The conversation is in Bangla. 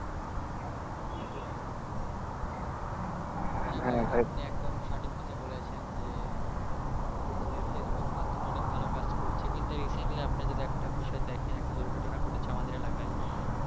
একদম সঠিক কথা বলেছেন আপনি একদম সঠিক কথা বলেছেন যে আমাদের ফেসবুক মাধ্যমে অনেক ভালো কাজ করেছি কিন্তু recently আপনি যদি একটা বিষয় দেখেন একটা দুর্ঘটনা ঘটেছে আমাদের এলাকায়